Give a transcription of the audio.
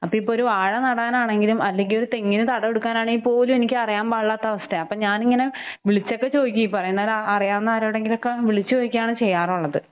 അപ്പ ഇപ്പ ഒരു വാഴ നടാനാണെങ്കിലും അല്ലെങ്കിൽ തെങ്ങിന് തടം എടുക്കാനാണേപോലും എനിക്ക് അറിയാൻ പാടില്ലാത്ത അവസ്ഥയ. അപ്പ ഞാനിങ്ങനെ ഹ് വിളിച്ചൊക്കെ ചോദിക്കും ഈ പറയുന്നൊരാ അറിയാവുന്ന ആരോടെങ്കിലൊക്കെ വിളിച്ചു ചോദിക്കയാണ് ചെയ്യാറുള്ളത്‌.